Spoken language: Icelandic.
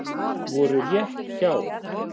Voru rétt hjá